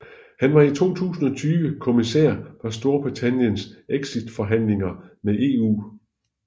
Han var i 2020 kommissær for Storbritanniens exitforhandlinger med EU